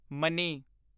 money